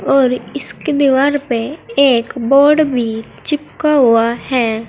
और इसकी दीवार पे एक बोर्ड भी चिपका हुआ है।